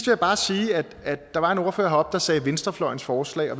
jeg bare sige at der var en ordfører heroppe der sagde venstrefløjens forslag